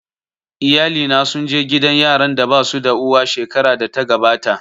Iyalina sun je gidan yaran da basu da uwa shekarar da ta gabata